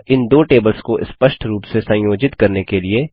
अतः इन दो टेबल्स को स्पष्ट रूप से संयोजित करने के लिए